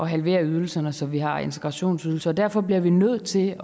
halvere ydelserne så vi har en integrationsydelse og derfor blev vi nødt til